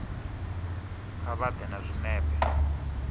kha vha ḓe na zwinepe